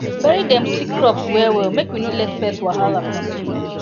bury dem sick crops well well make we no let pest wahala continue